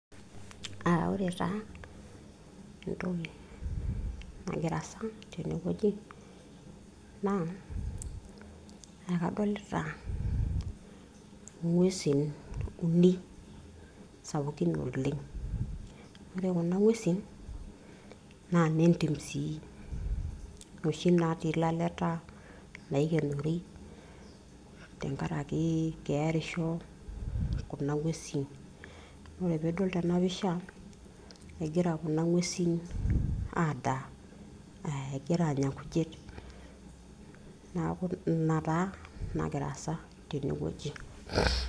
Aa ore taa entoki nagira aasa tene wueji naa ekadolita ngwesin uni sapukin oleng. ore kuna ngwesin naa nne ntim sii. noshi natii laleta naikienori , tenkaraki kearisho kuna ngwesin . ore pidol tena pisha egira kuna ngwesin adaa , egira anya nkujit . niaku ina taa nagira aasa tene wueji.